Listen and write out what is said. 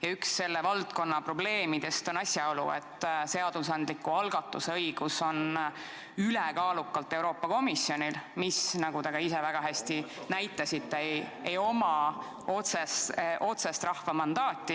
Ja üks selle valdkonna probleemidest on asjaolu, et seadusandliku algatuse õigus on ülekaalukalt Euroopa Komisjonil, kellel, nagu teie ka väga hästi viitasite, ei ole otsest rahva mandaati.